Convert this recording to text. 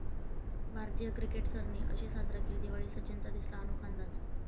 भारतीय क्रिकेटर्सनी अशी साजरी केली दिवाळी, सचिनचा दिसला अनोखा अंदाज